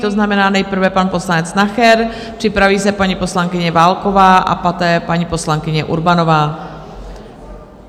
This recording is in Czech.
To znamená nejprve pan poslanec Nacher, připraví se paní poslankyně Válková a poté paní poslankyně Urbanová.